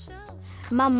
mamma